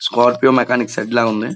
Scorpio mechanic shed లా ఉంది.